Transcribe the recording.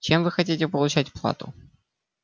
чем вы хотите получать плату